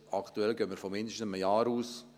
Aktuell gehen wir von mindestens einem Jahr aus.